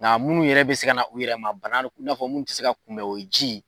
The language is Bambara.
Nga munnu yɛrɛ be se ka na u yɛrɛ ma bana in'a fɔ munnu te se ka kunbɛn o ye ji